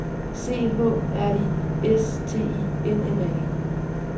C H R I S T I N N A